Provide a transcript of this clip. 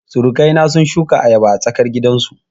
Surukai na sun shuka ayaba a tsarkar gidan su